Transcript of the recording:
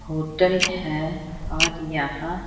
hotel है और यहां--